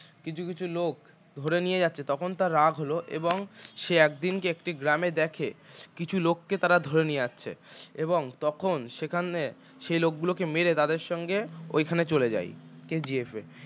কিছু কিছু লোক ধরে নিয়ে যাচ্ছে তখন তাঁর রাগ হল এবং সে একদিন একটি গ্রামে দেখে কিছু লোককে তারা ধরে নিয়ে আসছে এবং তখন সেখানে সেই লোকগুলোকে মেরে তাঁদের সঙ্গে ওইখানে চলে যায় KGF এ